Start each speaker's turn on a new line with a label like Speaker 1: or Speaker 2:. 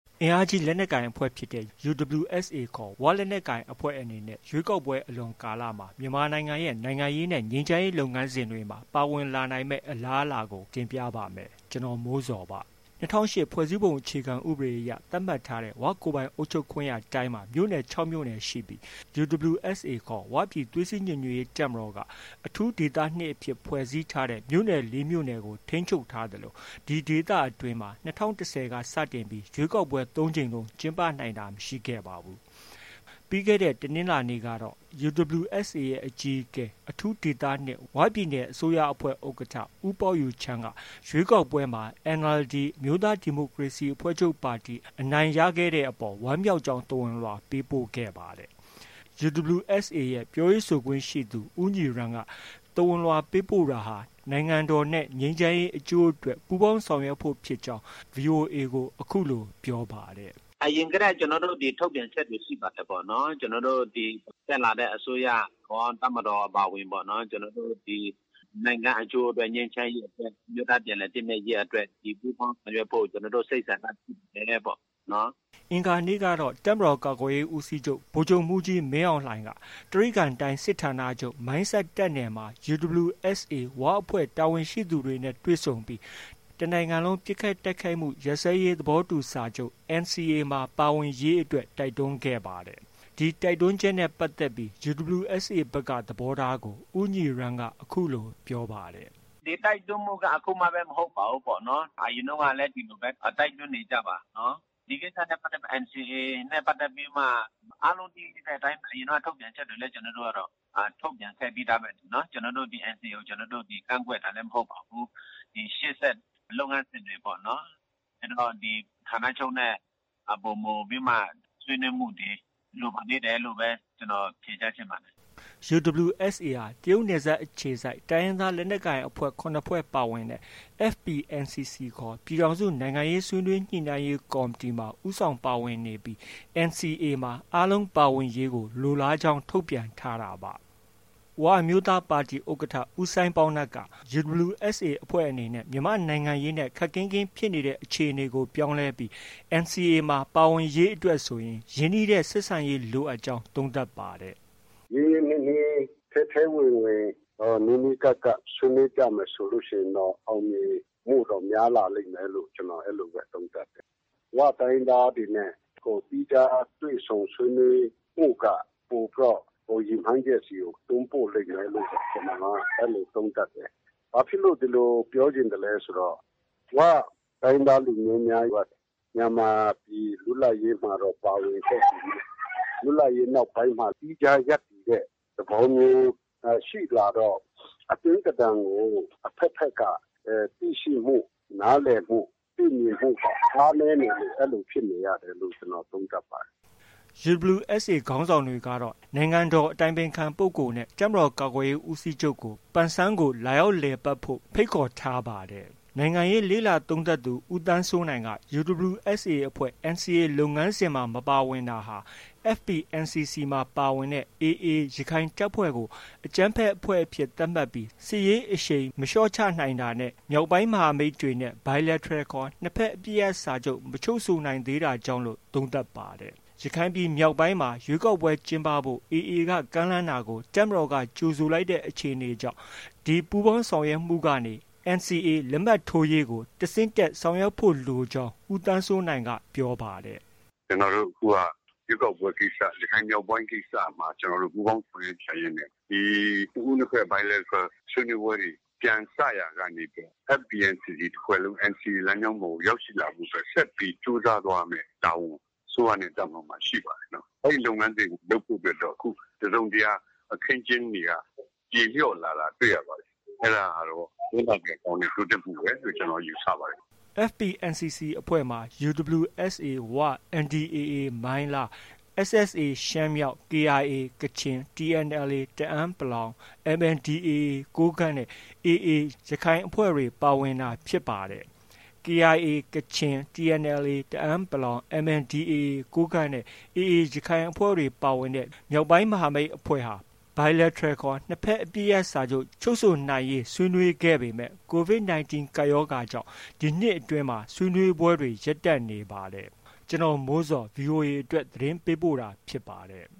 Speaker 1: အင်အားကြီး လက်နက်ကိုင်အဖွဲ့ဖြစ်တဲ့ UWSA ခေါ် ဝလက်နက်ကိုင်အဖွဲ့အနေနဲ့ ရွေးကောက်ပွဲ အလွန်ကာလမှာ မြန်မာပြည်ရဲ့ နိုင်ငံရေးနဲ့ ငြိမ်းချမ်းရေးလုပ်ငန်းစဉ်တွေမှာ ပါဝင်လာနိုင်မယ့် အလားအလာတွေကို ဗွီအိုအေသတင်းထောက် ကိုမိုးဇော် က တင်ပြထားပါတယ်။ ၂၀၀၈ ဖွဲ့စည်းပုံအခြေခံဥပဒေအရ သတ်မှတ်ထားတဲ့ ဝကိုယ်ပိုင်အုပ်ချုပ်ခွင့်ရတိုင်းမှာ မြို့နယ် ၆မြို့နယ်ရှိပြီး UWSA ခေါ် ဝပြည်သွေးစည်းညီညွတ်ရေးတပ်မတော် က အထူးဒေသ ၂အဖြစ် ဖွဲ့စည်းထားတဲ့ မြို့နယ် ၄မြို့နယ်ကို ထိန်းချုပ်ထားသလို ၂၀၁၀က စတင်လို့ ရွေးကောက်ပွဲ ၃ကြိမ်လုံး ကျင်းပနိုင်တာ မရှိခဲ့ပါဘူး။ ပြီးခဲ့တဲ့ တနင်္လာနေ့က UWSAရဲ့ အကြီးအကဲ၊ အထူးဒေသ ၂၊ ဝပြည်နယ်အစိုးရအဖွဲ့ ဥက္ကဌ ဦးပေါက်ယူချမ်းက ရွေးကောက်ပွဲမှာ NLD အမျိုးသားဒီမိုကရေစီအဖွဲ့ချုပ်ပါတီ အနိုင်ရခဲ့တဲ့အပေါ် ဝမ်းမြောက်ကြောင်း သဝဏ်လွှာ ပေးပို့ခဲ့ပါတယ်။ UWSA ရဲ့ ပြောရေးဆိုခွင့်ရှိသူ ဦးညီရမ်းက သဝဏ်လွှာပေးပို့တာဟာ နိုင်ငံတော်နဲ့ ငြိမ်းချမ်းရေးအကျိုးအတွက် ပူးပေါင်းဆောင်ရွက်ဖို့ဖြစ်ကြောင်း VOA ကို အခုလို ပြောပါတယ်။
Speaker 2: “ အရင်ကတည်းက ကျနော်တို့ ထုတ်ပြန်ချက်တွေရှိပါတယ်။ ကျနော်တို့ ဒီ တက်လာတဲ့ အစိုးရကော၊ တပ်မတော်အပါအဝင်ပေါ့ ကျနော်တို့ ဒီ နိုင်ငံအကျိုးအတွက်၊ ငြိမ်းချမ်းရေး အမျိုးသားပြန်လည် သင့်မြတ်ရေးအတွက် ဒီ ပူးပေါင်းဆောင်ရွက်ဖို့ ကျနော်တို့ စိတ်ဆန္ဒရှိပါတယ်ပေါ့
Speaker 1: နော်။ ” အင်္ဂါနေ့ကတော့ တပ်မတော်ကာကွယ်ရေးဦးစီးချုပ် ဗိုလ်ချုပ်မှုးကြီးမင်းအောင်လှိုင်က တြိဂံတိုင်းစစ်ဌာနချုပ်၊ မိုင်းဆတ်တပ်နယ်မှာ UWSA ဝအဖွဲ့ တာဝန်ရှိသူတွေနဲ့ တွေ့ဆုံခဲ့ပြီး တစ်နိုင်ငံလုံးပစ်ခတ်တိုက်ခိုက်မှု ရပ်စဲရေးသဘောတူစာချုပ် NCA မှာ ပါဝင်ရေးအတွက် တိုက်တွန်းခဲ့ပါတယ်။ ဒီတိုက်တွန်းချက်နဲ့ပတ်သက်ပြီး UWSA ဘက်က သဘောထားကို ဦးညီရမ်းက အခုလို ပြောပါတယ်။
Speaker 2: “ ဒီတိုက်တွန်းမှုက အခုမှ မဟုတ်ပါဘူး။ အရင်တုံးကလည်း ဒီလိုပဲ တိုက်တွန်းနေကျပါ။ ဒီကိစ္စနဲ့ ပတ်သက်ပြီး၊ NCA နဲ့ ပတ်သက်ပြီးမှတော့ အားလုံးသိကြတဲ့အတိုင်း ကျနော်တို့ကတော့ ထုတ်ပြန်ချက်တွေလည်း ထုတ်ပြန်ခဲ့ပြီးသားပဲလေ။ ကျနော်တို့ ဒီ NCA ကို ကန့်ကွက်တာလည်း မဟုတ်ပါဘူး။ ရှေ့ဆက် ဒီလုပ်ငန်းစဉ်တွေပေါ့နော်။ ကျနော်တို့ ဌာနချုပ်နဲ့ ပိုမိုပြီးမှ ဆွေးနွေးမှုတွေ လိုပါသေးတယ်လို့ပဲ ကျနော် ဖြေကြားချင်ပါတယ်။
Speaker 1: ” UWSA ဟာ တရုတ်နယ်စပ်အခြေစိုက် တိုင်းရင်းသားလက်နက်ကိုင်အဖွဲ့ ၇ဖွဲ့ပါဝင်တဲ့ FPNCC ပြည်ထောင်စု နိုင်ငံရေးဆွေးနွေးညှိနှိုင်းရေးကော်မတီမှာ ဦးဆောင်ပါဝင်နေပြီး NCAမှာ အားလုံးပါဝင်ရေးကို လိုလားကြောင်း ထုတ်ပြန်ထားတာပါ။ ဝအမျိုးသားပါတီ ဥက္ကဌ ဦးစိုင်းပေါင်းနပ်က UWSA အဖွဲ့အနေနဲ့ မြန်မာပြည်နိုင်ငံရေးနဲ့ ခပ်ကင်းကင်းဖြစ်နေတဲ့ အခြေအနေကို ပြောင်းလဲပြီး NCA မှာ ပါဝင်ရေးအတွက်ဆိုရင် ရင်းနှီးတဲ့ ဆက်ဆံရေးလိုအပ်ကြောင်း သုံးသပ်ပါတယ်။ “ ရ
Speaker 3: င်းရင်းနှီးနှီး ထဲထဲဝင်ဝင် နီးနီးကပ်ကပ် ဆွေးနွေးကြမယ်ဆိုရင်တော့ အောင်မြင်တွေ များလာလိမ့်မယ်လို့ ကျနော် အဲလိုပဲ သုံးသပ်တယ်။ ဝတိုင်းရင်းသားတွေနဲ့ သီးခြားတွေ့ဆုံဆွေးနွေးမှုက ပိုပြီးတော့ ရည်မှန်းချက်ဆီကို တွန်းပို့လိမ့်မယ်လို့ ကျနော်က အဲလို သုံးသပ်တယ်။ ဘာဖြစ်လို့ ဒီလို ပြောချင်သလဲဆိုတော့ ဝ တိုင်းရင်းသားလူမျိုးများက မြန်မာပြည် လွတ်လပ်ရေးမှာတော့ ပါဝင်ခဲ့ပေမဲ့ လွတ်လပ်ရေးနောက်ပိုင်းမှာ သီးခြားရပ်တည်တဲ့ သဘောမျိုး ရှိလာတော့ အတွင်းသဏ္ဍာန်ကို အဖက်ဖက်က သိရှိမှု၊ နားလည်မှု၊ သိမြင်မှု အားနည်းနေလို့ အဲလိုဖြစ်နေရတယ်လို့ ကျနော်သုံးသပ်ပါတယ်။”
Speaker 1: UWSA ခေါင်းဆောင်တွေကတော့ နိုင်ငံတော်အတိုင်ပင်ခံပုဂ္ဂိုလ်နဲ့ တပ်မတော်ကာကွယ်ရေးဦးစီးချုပ်ကို ပန်ဆန်းကို လာရောက်လည်ပတ်ဖို့ ဖိတ်ခေါ်ထားပါတယ်။ နိုင်ငံရေးလေ့လာသုံးသပ်သူ ဦးသန်းစိုးနိုင်က UWSA အဖွဲ့ NCA လုပ်ငန်းစဉ်မှာ မပါဝင်တာဟာ FPNCC မှာ ပါဝင်တဲ့ AA ရခိုင်တပ်ဖွဲ့ကို အကြမ်းဖက်အဖွဲ့အဖြစ်သတ်မှတ်ပြီး စစ်ရေးအရှိန်မလျှော့ချနိုင်တာနဲ့ မြောက်ပိုင်းမဟာမိတ်အဖွဲ့တွေနဲ့ Bilateral ခေါ် နှစ်ဘက်အပစ်ရပ်စာချုပ် မချုပ်ဆိုနိုင်သေးတာကြောင့်လို့ သုံးသပ်ပါတယ်။ ရခိုင်ပြည်နယ်မြောက်ပိုင်းမှာ ရွေးကောက်ပွဲကျင်းပဖို့ AAက ကမ်းလှမ်းတာကို တပ်မတော်က ကြိုဆိုခဲ့တဲ့အခြေအနေကြောင့် ဒီပူးပေါင်းဆောင်ရွက်မှုကနေ NCA လက်မှတ်ရေးထိုးရေးကို တစ်ဆင့်တက် ဆောင်ရွက်ဖို့ လိုကြောင်း ဦးသန်းစိုးနိုင်က ပြောပါတယ်။
Speaker 3: “ ကျနောတို့ အခုက ရွေးကောက်ပွဲ ကိစ္စ ၊ ရခိုင်မြောက်ပိုင်းကိစ္စမှာ ပူးပေါင်းဆောင်ရွက်ကြရင်းနဲ့ နှစ်ဦးနှစ်ဘက် Bilateral ဆွေးနွေးပွဲတွေ ပြန်စရာကနေပြီးတော့ FPNCC တစ်ဖွဲ့လုံး NCA လမ်းကြောင်းပေါ်ကို ရောက်ရှိလာဖို့အတွက် ဆက်ပြီး ကြိုးစားသွားရမယ့် တာဝန် အစိုးရနဲ့ တပ်မတော်မှာ ရှိပါတယ်။ အဲဒီလုပ်ငန်းစဉ်ကို လုပ်ဖို့ အတွက်တော့ တစ်စုံတစ်ရာ အခင်းအကျင်းတွေက ပြေလျော့လာတာတွေ့ရပါတယ်။ အဲဒါကတော့ ဝမ်းသာစရာ တိုးတက်မှုပဲလို့ ကျနော်ယူဆပါတယ်။
Speaker 1: ” FPNCC အဖွဲ့မှာ UWSA ဝ၊NDAA မိုင်းလား၊ SSA ရှမ်းမြောက်၊ KIA ကချင်၊ TNLA တအန်း ၊ MNDAA ကိုးကန့်နဲ့ AA ရခိုင်အဖွဲ့တွေပါဝင်တာဖြစ်ပါတယ်။ KIA ကချင်၊ TNLA တအန်း ၊ MNDAA ကိုးကန့်နဲ့ AA ရခိုင်အဖွဲ့ ပါဝင်တဲ့ မြောက်ပိုင်းမဟာမိတ်အဖွဲ့က Bilateral ခေါ် နှစ်ဘက်အပစ်ရပ်စာချုပ် ချုပ်ဆိုနိုင်ရေး ဆွေးနွေးခဲ့ပေမဲ့ Covid 19 ကပ်ရောဂါကြောင်း ဒီနှစ်အတွင်း ဆွေးနွေးပွဲတွေ ရပ်တန့်နေတာပါ။ ကျနော်မိုးဇော် VOA အတွက် သတင်းပေးပို့တာဖြစ်ပါတယ်